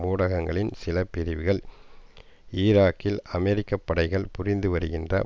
ஊடகங்களின் சில பிரிவுகள் ஈராக்கில் அமெரிக்க படைகள் புரிந்து வருகின்ற